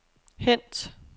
hent